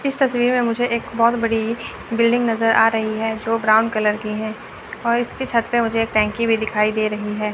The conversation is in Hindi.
इस तस्वीर मे मुझे एक बहोत बड़ी बिल्डिंग नजर आ रही है जो ब्राउन कलर की है और इसके छत पे मुझे एक टंकी भी दिखाई दे रही है।